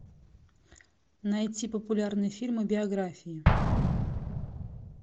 найти популярные фильмы биографии